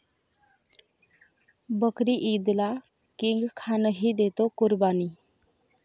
बकरी ईदला किंग खानही देतो कुर्बानी